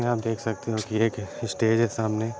यहाँ आप देख सकते हो कि एक स्टेज है सामने।